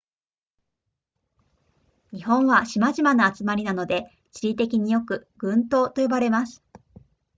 日本は島々の集まりなので地理的によく群島と呼ばれます